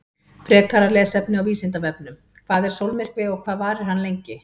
Frekara lesefni á Vísindavefnum: Hvað er sólmyrkvi og hvað varir hann lengi?